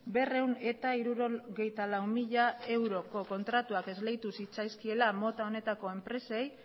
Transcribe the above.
berrehun eta hirurogeita hamalau mila eurotako kontratuak esleitu zitzaizkiela mota honetako enpresei